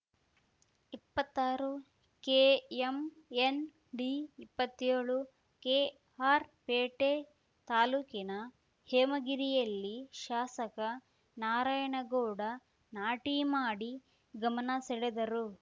ಇಪ್ಪತ್ತಾರುಕೆಎಂಎನ್‌ ಡಿಇಪ್ಪತ್ತೇಳು ಕೆಆರ್‌ಪೇಟೆ ತಾಲೂಕಿನ ಹೇಮಗಿರಿಯಲ್ಲಿ ಶಾಸಕ ನಾರಾಯಣಗೌಡ ನಾಟಿ ಮಾಡಿ ಗಮನ ಸೆಳೆದರು